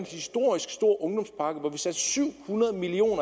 historisk stor ungdomspakke hvor vi satte syv hundrede million